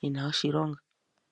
yina oshilonga .